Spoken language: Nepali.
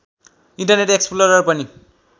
इन्टरनेट एक्सप्लोरर पनि